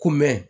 Kunmɛn